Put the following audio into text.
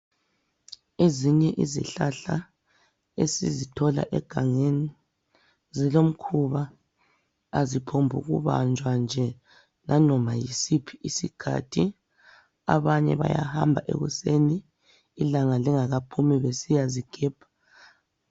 Ezinye izihlahla esizithola egangeni zilomkhuba aziphombukubanjwa nje nanoba yisiphi iskhathi, abanye bayahamba ekuseni ilanga lingakaphumi besiyazigebha.